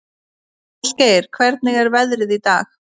Ásgeir, hvernig er veðrið í dag?